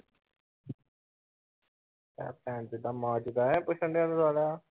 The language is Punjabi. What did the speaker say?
ਕਹਿ ਭੈਣ ਚਦਾ ਮਾਂ ਚਦਾ